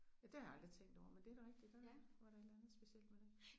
Ja det har jeg aldrig tænkt over men det er da rigtigt der var et eller andet specielt med det